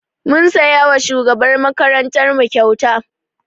Mun siya wa shugabar makarantar mu kyauta